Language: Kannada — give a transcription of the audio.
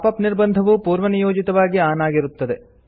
ಪಾಪ್ ಅಪ್ ನಿರ್ಬಂಧವು ಪೂರ್ವನಿಯೋಜಿತವಾಗಿ ಆನ್ ಆಗಿರುತ್ತದೆ